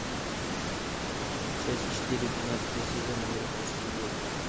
часть четыре двенадцатого сезона американские боги